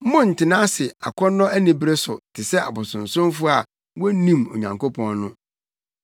Monntena ase akɔnnɔ anibere so te sɛ abosonsomfo a wonnim Onyankopɔn no.